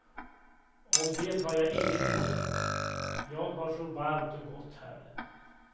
Och det har jag inget emot, jag har så varmt och gott här.